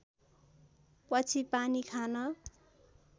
पछि पानी खान